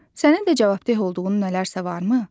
Sənin də cavabdeh olduğun nələrsə varmı?